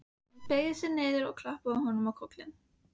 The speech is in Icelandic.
Hún beygði sig niður og klappaði honum á kollinn.